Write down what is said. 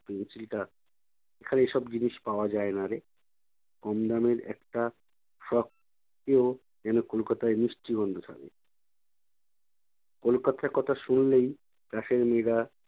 pencil টা। এখানে এসব জিনিস পাওয়া যায়না রে। কমদামের একটা frock কেও যেনো কলকাতায় মিষ্টি গন্ধ ছাড়ে। কলকাতার কথা শুনলেই class এর মেয়েরা